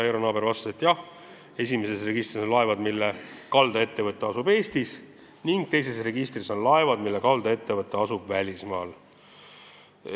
Eero Naaber vastas jaatavalt: esimeses registris on laevad, mille kaldaettevõte asub Eestis, ning teises registris on laevad, mille kaldaettevõte asub välismaal.